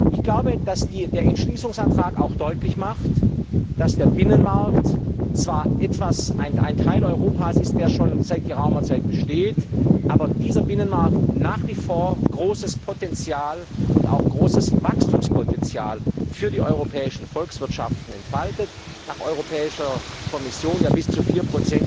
Ich glaube, dass der Entschließungsantrag auch deutlich macht, dass der Binnenmarkt zwar ein Teil Europas ist, der schon seit geraumer Zeit besteht, aber dass dieser Binnenmarkt nach wie vor großes Potenzial und auch großes Wachstumspotenzial für die europäischen Volkswirtschaften entfaltet nach Europäischer Kommission bis zu 4